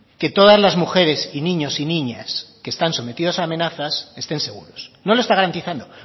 que todas las mujeres y niños y niñas que están sometidos a amenazas estén seguros no lo está garantizando